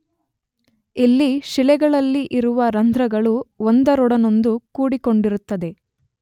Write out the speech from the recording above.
ಇಲ್ಲಿ ಶಿಲೆಗಳಲ್ಲಿ ಇರುವ ರಂಧ್ರಗಳು ಒಂದರೊಡನೊಂದು ಕೂಡಿಕೊಂಡಿರುತ್ತದೆ.